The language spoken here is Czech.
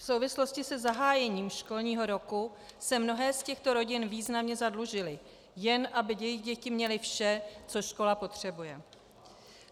V souvislosti se zahájením školního roku se mnohé z těchto rodin významně zadlužily, jen aby jejich děti měly vše, co škola potřebuje.